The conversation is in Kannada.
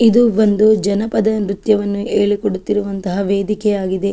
ಇದು ಒಂದು ಜನಪದ ನೃತ್ಯವನ್ನು ಹೇಳಿ ಕೊಡುತ್ತಿರುವಂತಹ ವೇದಿಕೆಯಾಗಿದೆ.